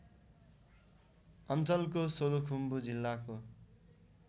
अञ्चलको सोलुखुम्बु जिल्लाको